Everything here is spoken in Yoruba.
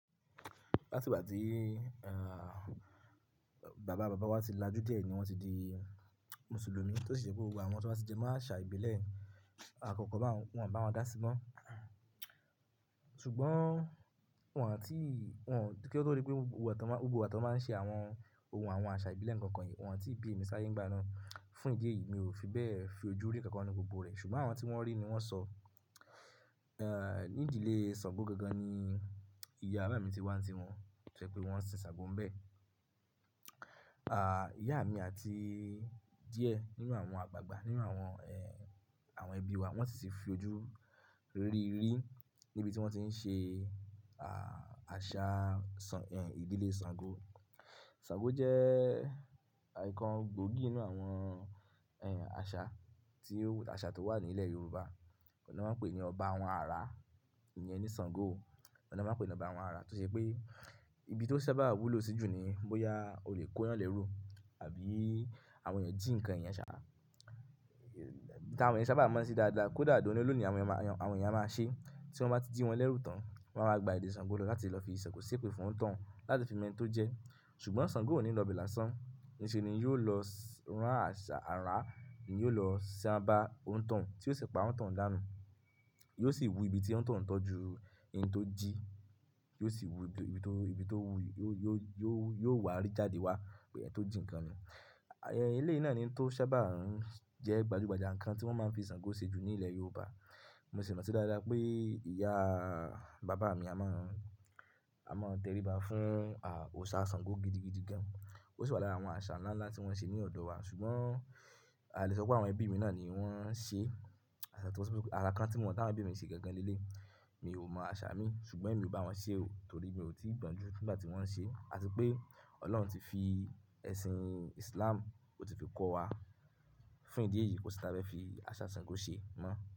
Láti ìgbà tí, eh, bàbá bàbá wa ti lajú díẹ̀ ni wọ́n ti di Mùsùlùmí, tó sì ṣe pé gbogbo àwọn tí wọ́n bá ti jẹ mo aṣà ìbílẹ̀. Awon nkankan báun, wọ́n ò bá won dá sí mọ́. Ṣùgbọ́n wọ́n tí, wọ́n kí ó tó di pé gbogbo igba ti wọn báa ń ṣe àwọn ohun àwọn àṣà ìbílẹ̀ nko kan yen, wọ́n tí bí mi sáyé ńi gba ná. Fún ìdí èyí mi ò fi bẹ́ẹ̀ fi ojú rí nǹkan kan ní gbogbo rẹ̀. Ṣùgbọ́n àwọn tí wọ́n rí ni wọ́n sọ, eh, ní ìdílé Ṣàngó gangan ni ìyá bàbá mi ti wá tí wọ́n fẹ́ pé wọ́n sin Ṣàngó ń bẹ́ẹ̀. A, ìyá mi àti díẹ̀ nínú àwọn àgbàgbà nínú àwọn, eh, àwọn ẹbí wa wọ́n sì ti fi ojú rí rí níbi tí wọ́n ti ń ṣe, a, àṣà Ṣàng-- ìdílé Ṣàngó. Ṣàngó jẹ́ nǹkan gbòógì nínú àwọn, ẹ, àṣà tí ó wà nílẹ̀ Yorùbá. Ni won máa ń pè ní ọba àwọn àrá, ìyẹn ní Ṣàngó. Owun ni won máa ń pe ni ọba àwọn àrá, tó ṣe pé, ibi tó sábà wúlò sí jù ni bóyá olè kóyàn lérù àbí àwọn èèyàn jí nǹkan eyan ṣá. Eti àwọn èèyàn sábà maa n se dáadáa kó dà doni olóoni àwọn èèyàn máa, àwọn èèyàn máa ṣe. Tí wọ́n bá ti jí wọn lẹ́rù tán, wọ́n wá gba ilè Ṣàngó lọ láti lọ fi Sàngó sépè fún òun tóun láti fi mo eni tọ́ jẹ. Ṣùgbọ́n Ṣàngó ò ní lọ bẹ̀ lásán. Níṣe ni yóò lọ rán àṣà àrá, yóò lọ sanba òntàn tí ó sì pa òun tàn un dànù. Yóò sì wú ibi tí òntàn tọ́ ju ẹni tó jí, yóò sì wú ibi tó, ibi tó wú, yóò, yóò, yóò wá rí jáde wá pélu ẹni tó jí nǹkan yẹn. Ẹ̀yi lé yìí náà ni tó sábà ń jẹ́ gbajúgbajà nǹkan tí wọ́n máa ń fi Ṣàngó ṣe jù ní ilẹ̀ Yorùbá. Mo sì mọ̀ sí dáadáa pé ìyá bàbá mi a máa ń, a máa ń tẹríba fún, a, òòṣà Ṣàngó gidigidi gan. Ó sì wà lára àwọn àṣà ńlá ńlá tí wọ́n ṣe ní ọ̀dọ̀ wa. Ṣùgbọ́n a lè sọ pé àwọn ẹbí mi náà ni wọ́n ń ṣe àṣà tí wọ́n sọ pé alakan tí mo mọ̀ tí àwọn ẹbí mi ṣe gangan nílé. Mi ò mọ àṣà mi ṣùgbọ́n èmi ò bá wọn ṣe ò. Nítorí pé mo ti gbọ̀n jú nígbà tí wọ́n ń ṣe, àti pé Ọlọ́run ti fi ẹ̀sìn Islam, ó ti fi kọ́ wa. Fún ìdí èyí kò sí n tí a fe fi àṣà Ṣàngó ṣe mọ́.